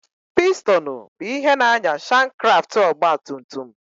Pistonụ bụ ihe na-ànyà shankkraftụ ọgbatumtum.